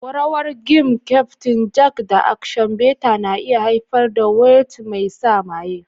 Rawar gin, Kyaftin Jack, da Action Bitter na iya haifar da waltz mai sa maye.